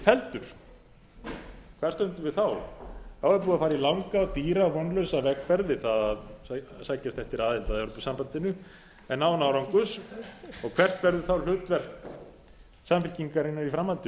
felldur hvar stöndum við þá þá er búið að fara í langa dýra og vonlausa vegferð við það að sækjast eftir aðild að evrópusambandinu en án árangurs og hvert verður þá hlutverk samfylkingarinnar í framhaldinu